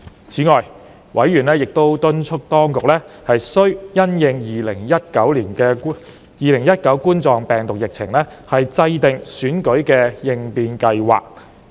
此外，委員亦敦促當局須因應2019冠狀病毒病的疫情，制訂選舉應變計劃。